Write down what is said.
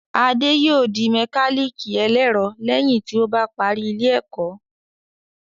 Adé yòó di mẹkálíkì ẹlẹ́ẹ̀rọ lẹ́yìn tí ó bá parí ilé ẹ̀kọ́